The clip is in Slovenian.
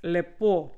Lepo.